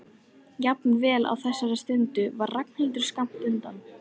Jafnvel á þessari stundu var Ragnhildur skammt undan.